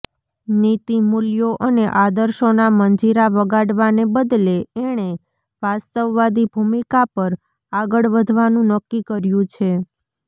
નીતિમૂલ્યો અને આદર્શોના મંજીરા વગાડવાને બદલે એણે વાસ્તવવાદી ભૂમિકા પર આગળ વધવાનું નક્કી કર્યું છે